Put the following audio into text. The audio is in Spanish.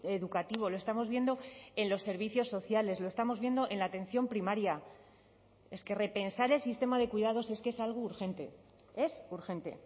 educativo lo estamos viendo en los servicios sociales lo estamos viendo en la atención primaria es que repensar el sistema de cuidados es que es algo urgente es urgente